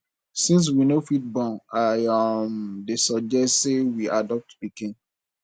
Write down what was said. since we no fit born i um dey suggest say we adopt pikin